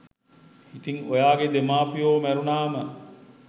ඉතින් ඔයාගෙ දෙමාපියො මැරුණාම